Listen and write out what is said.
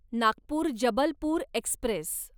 Nagpur Jabalpur Express